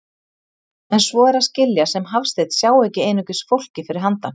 En svo er að skilja sem Hafsteinn sjái ekki einungis fólkið fyrir handan.